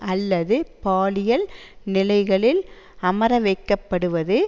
அல்லது பாலியல் நிலைகளில் அமரவைக்கப்படுவது